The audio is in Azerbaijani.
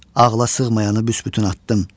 Ağla sığmayanı büsbütün atdım.